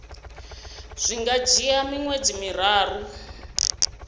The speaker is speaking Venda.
zwi nga dzhia miṅwedzi miraru